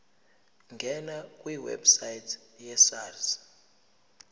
ngena kwiwebsite yesars